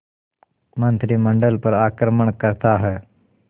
मंत्रिमंडल पर आक्रमण करता है